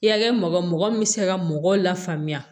Ya kɛ mɔgɔ mɔgɔ min bɛ se ka mɔgɔw la faamuya